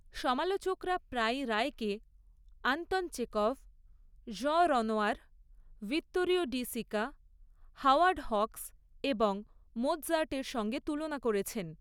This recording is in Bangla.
সমালোচকরা প্রায়ই রায়কে Anton Chekhov, Jean Renoir, Vittorio De Sica, Howard Hawks এবং মোৎসার্টের সঙ্গে তুলনা করেছেন।